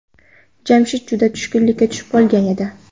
Jamshid juda tushkunlikka tushib qolgan edi.